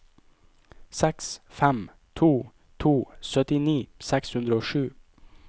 seks fem to to syttini seks hundre og sju